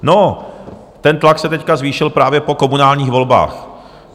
No, ten tlak se teď zvýšil právě po komunálních volbách.